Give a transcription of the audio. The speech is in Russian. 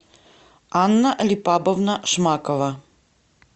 анна липабовна шмакова